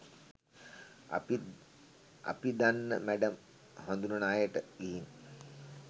අපිත් අපි දන්න මැඩම් හඳුණන අයට ගිහින්